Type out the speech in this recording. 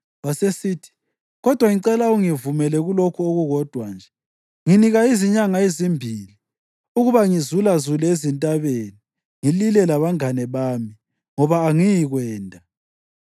Wasesithi, “Kodwa ngicela ungivumele kulokhu okukodwa nje. Nginika izinyanga ezimbili ukuba ngizulazule ezintabeni ngilile labangane bami, ngoba angiyikwenda.”